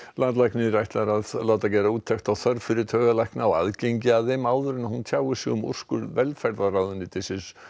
landlæknir ætlar að láta gera úttekt á þörf fyrir taugalækna og aðgengi að þeim áður en hún tjáir sig um úrskurð velferðarráðuneytisins